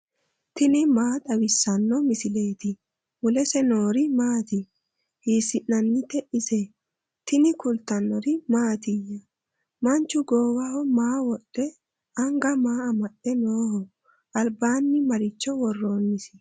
tini maa xawissanno misileeti ? mulese noori maati ? hiissinannite ise ? tini kultannori mattiya? Manchu goowaho maa wodhe? Anga maa amade nooho? Alibbanni maricho woroonnisi?